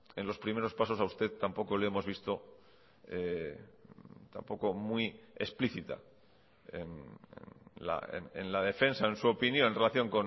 en los primeros pasos a usted tampoco le hemos visto tampoco muy explícita en la defensa en su opinión en relación